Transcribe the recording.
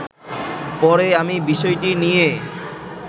পরে আমি বিষয়টি নিয়ে